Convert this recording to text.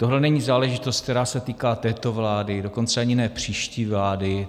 Tohle není záležitost, která se týká této vlády, dokonce ani ne příští vlády.